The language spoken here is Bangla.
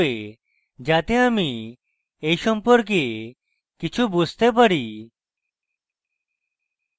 যাতে আমি এই সম্পর্কে কিছু বুঝতে পারি